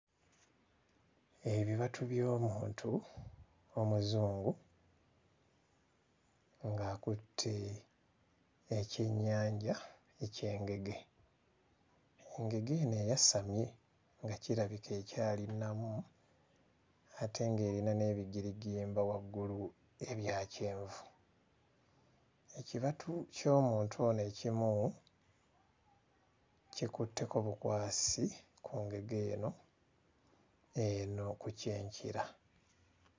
Ebibatu by'omuntu omuzungu ng'akutte ekyennyanja eky'engege engege eno eyasamye nga kirabika ekyali nnamu ate ng'erina n'ebigirigimba waggulu ebya kyenvu. Ekibatu ky'omuntu ono ekimu kikutteko bukwasi ku ngege eno eno ku kyenkira.